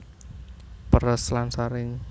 Peres lan saring